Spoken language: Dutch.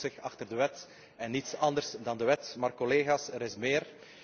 Hij verschuilt zich achter de wet en niets anders dan de wet. Maar, collega's, er is meer.